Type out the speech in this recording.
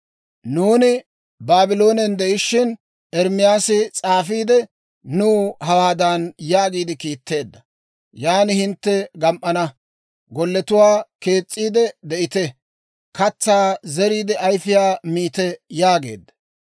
Nuuni Baabloonen de'ishiina, Ermaasi s'aafiide, nuw hawaadan yaagiide kiitteedda; Yaan hintte gam"ana. Golletuwaa kees's'iide, de'ite. Katsaa zeriide, ayifiyaa miite› yaageedda.»